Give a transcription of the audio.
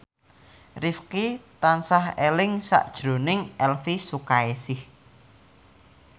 Rifqi tansah eling sakjroning Elvi Sukaesih